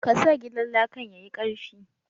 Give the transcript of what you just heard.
Ka sa gidan lakan yayi karfi.